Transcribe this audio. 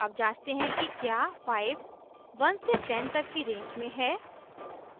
अब जांचते हैं कि क्या 5 1 से 10 तक की रेंज में है